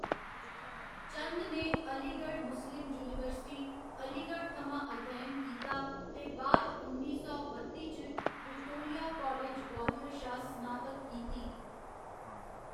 चंद ने Aligarh Muslim university, Aligarh थमां अध्ययन कीता ते बाद उन्नी सौ बत्ती च विक्टोरिया कालज, ग्वालियर शा स्नातक कीती।